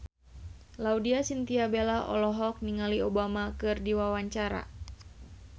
Laudya Chintya Bella olohok ningali Obama keur diwawancara